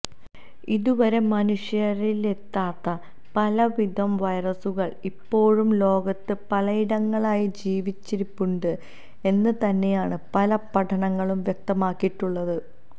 ഇതുവരെ മനുഷ്യരിലെത്താത്ത പലവിധം വൈറസുകൾ ഇപ്പോഴും ലോകത്ത് പലയിടങ്ങളിലായി ജീവിച്ചിരിപ്പുണ്ട് എന്ന് തന്നെയാണ് പല പഠനങ്ങളും വ്യക്തമാക്കിയിട്ടുള്ളത്